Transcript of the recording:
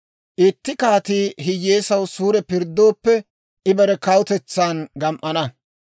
Itti kaatii hiyyeesaw suure pirddooppe, I bare kawutetsan gam"ana.